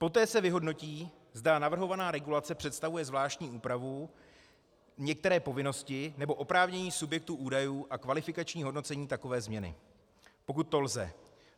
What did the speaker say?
Poté se vyhodnotí, zda navrhovaná regulace představuje zvláštní úpravu některé povinnosti nebo oprávnění subjektu údajů a kvalifikační hodnocení takové změny, pokud to lze.